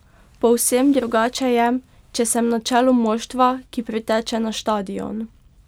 Povsem drugače je, če sem na čelu moštva, ki priteče na štadion.